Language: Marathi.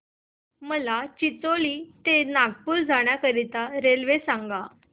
मला चिचोली ते नागपूर जाण्या साठी रेल्वे सांगा